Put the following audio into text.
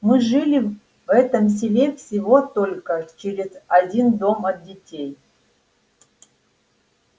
мы жили в этом селе всего только через один дом от детей